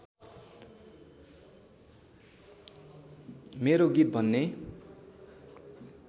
मेरो गीत भन्ने